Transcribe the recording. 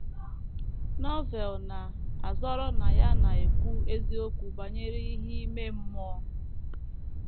Novel na - azọrọ na ya na - ekwu eziokwu banyere ihe ime mmụọ.